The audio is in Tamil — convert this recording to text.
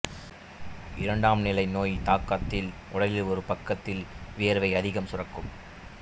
இரண்டாம் நிலை நோய் தாக்கத்தில் உடலின் ஒரு பக்கத்தில் வியர்வை அதிகம் சுரக்கும்